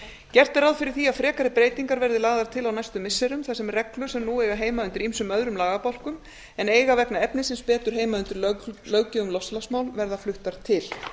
gert er ráð fyrir því að frekari breytingar verði lagðar til á næstu missirum þar sem reglur sem nú eiga heima undir ýmsum öðrum lagabálkum en eiga vegna efnisins betur heima undir löggjöf um loftslagsmál verða fluttar til